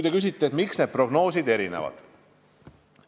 Te küsite, miks need prognoosid erinevad.